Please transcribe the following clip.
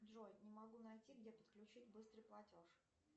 джой не могу найти где подключить быстрый платеж